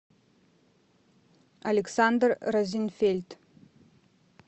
александр розенфельд